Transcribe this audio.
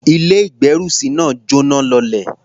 Ilé-ìgbérùsí náà jọ́náh lọlẹ̀.